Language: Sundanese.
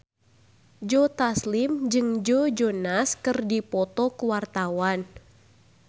Joe Taslim jeung Joe Jonas keur dipoto ku wartawan